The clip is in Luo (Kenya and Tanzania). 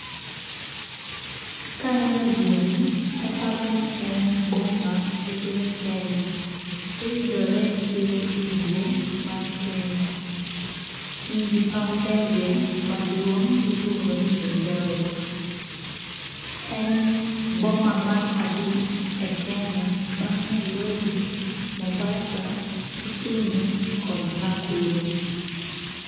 Kaneno gini taparo ni en boma e piny Kenya. Oyudore e yoo ugwe mar Kenya. En gi paw ndege maduong' miluongo ni Eldoret. En boma mar abich e Kenya bang' Nairobi, Mombasa, Kisumu kod Nakuru.